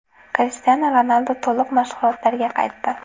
Krishtianu Ronaldu to‘liq mashg‘ulotlarga qaytdi.